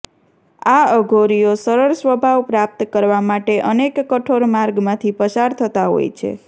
આ અઘોરીઓ સરળ સ્વભાવ પ્રાપ્ત કરવા માટે અનેક કઠોર માર્ગ માંથી પસાર થતાં હોય છે